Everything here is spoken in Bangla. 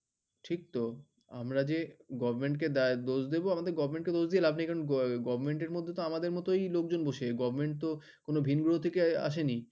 ঠিক তো আমাদের গভ কে দোষ বিদ গভ কে দোষ দিয়ে লাভ নেই গভ এ তে তো আমাদের মতই লোকজন বসে কোনো ভিন গ্রহ থেকে আসি